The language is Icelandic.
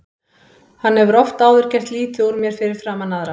Hann hefur oft áður gert lítið úr mér fyrir framan aðra.